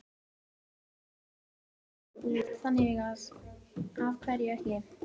Stefnan var alltaf að fara aftur út, þannig að af hverju ekki?